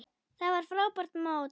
Þetta var frábært mót.